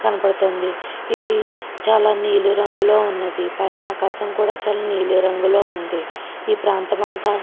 --కనపడుతుంది. ఇది చాలా నీలిరంగులో ఉన్నది. పైన ఆకాశం కూడా చాలా నీలి రంగులో ఉంది. ఈ ప్రాంతమంతా--